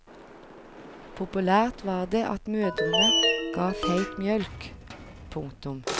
Populært var det at mødrene ga feit mjølk. punktum